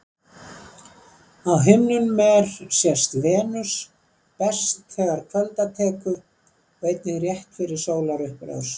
Á himninum er sést Venus best þegar kvölda tekur og einnig rétt fyrir sólarupprás.